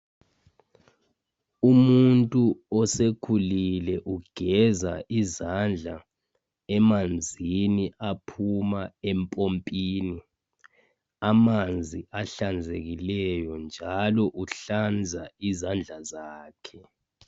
Umuntu osekhulile ugeza izandla emanzini aphuma empompini. Amanzi ahlanzekileyo njalo uhlanza izandla zakhe.